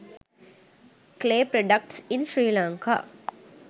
clay products in sri lanka